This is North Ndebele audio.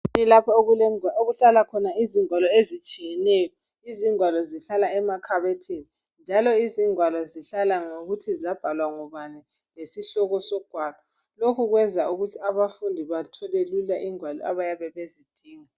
Kulapho okuhlala khona izingwalo ezitshiyeneyo. Izingwalo zihlala emakhabothini njalo izingwalo zihlala ngokuthi zabhalwa ngubani lesihloko sogwalo. Lokhu kwenza abafundi bathole lula ingwalo abayabe bezidinga.